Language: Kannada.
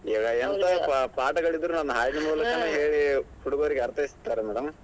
ಎಂತಾ ಪಾಠಗಳಿದ್ರೂನೂ ಹಾಡಿನ್ಮೂಲಕ ಹೇಳಿ ಹುಡುಗರಿಗೆ ಅರ್ಥೈಸ್ತಾರೆ madam .